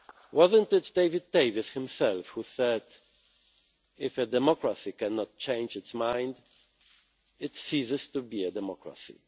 Was it not David Davis himself who said, if a democracy cannot change its mind, it ceases to be a democracy'?